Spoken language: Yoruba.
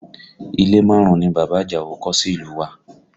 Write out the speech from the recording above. Ilé márùn-ún ni bàbá Àjàó kọ́ sí ìlú u wa